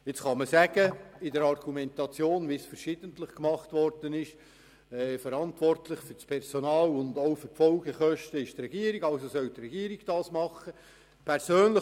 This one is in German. Es kann argumentiert werden, dass die Regierung für das Personal und die Folgekosten verantwortlich ist, weshalb die Regierung entschieden soll.